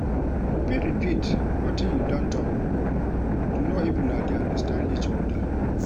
You fit repeat wetin you don talk before to know if una de understand each oda